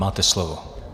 Máte slovo.